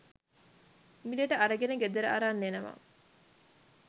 මිලට අරගෙන ගෙදර අරන් එනවා